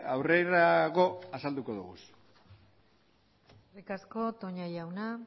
aurrerago azalduko ditugu eskerrik asko toña jauna